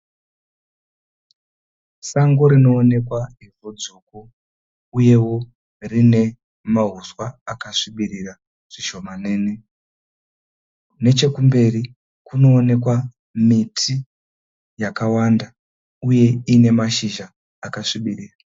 Sango rinoonekwa hutsvuku uyewo riine mauswa akasvibirira zvishomanene. Nechekumberi kunoonekwa miti yakawanda uye iine mashizha akasvibirira.